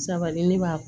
Sabali ne b'a